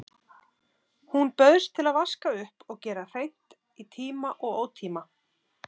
Hún bauðst til að vaska upp og gera hreint í tíma og ótíma.